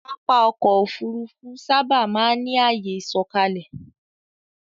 Pápá ọkọ̀ Òfurufú sáábà máa ń ní àyè ìsọ̀kalẹ̀